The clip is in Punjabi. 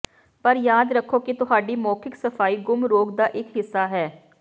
ਪਰ ਯਾਦ ਰੱਖੋ ਕਿ ਤੁਹਾਡੀ ਮੌਖਿਕ ਸਫਾਈ ਗੁੰਮ ਰੋਗ ਦਾ ਇਕ ਹਿੱਸਾ ਹੈ